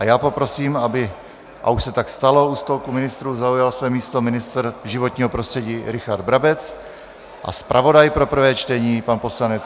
A já poprosím, aby - a už se tak stalo - u stolku ministrů zaujal své místo ministr životního prostředí Richard Brabec a zpravodaj pro prvé čtení pan poslanec...